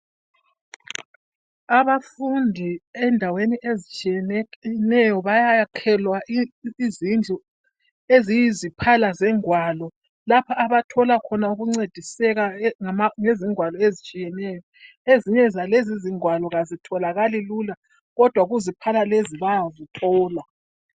Abafundi endaweni ezitshiyeneyo bayakhelwa izindlu eziyiziphala zengwalo lapho abathola ukuncediseka ngezingwalo ezitshiyeneyo. Ezinye izingwalo azotholakali lula, kodwa kuziphala lezi bayazithola.